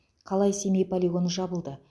қалай семей полигоны жабылды